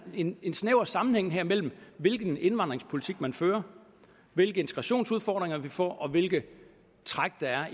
en snæver sammenhæng mellem hvilken indvandringspolitik man fører hvilke integrationsudfordringer vi får og hvilke træk der